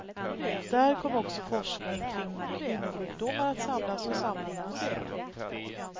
Där kommer också forskning kring kvinnosjukdomar att samlas och samordnas.